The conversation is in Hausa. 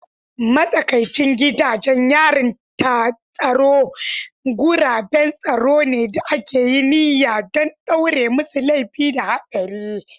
Matsakaicin gidajen yarin tsaro guraben tsaro ne da aka yi niyya don ɗaure masu laifi da haɗari.